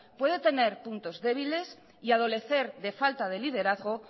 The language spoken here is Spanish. puede tener puntos débiles y adolecer de falta de liderazgo